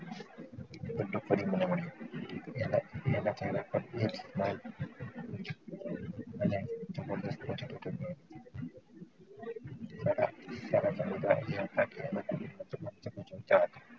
ફરી મને મળ્યું